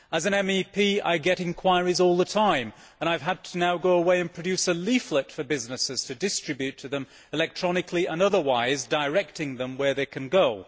As an MEP I get inquiries all the time and I have now had to go away and produce a leaflet for businesses to distribute to them, electronically and otherwise, directing them where they can go.